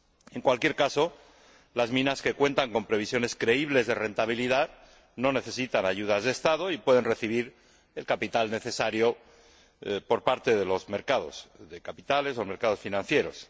En cualquier caso, las minas que cuentan con previsiones creíbles de rentabilidad no necesitan ayudas de Estado y pueden recibir el capital necesario por parte de los mercados de capitales o mercados financieros.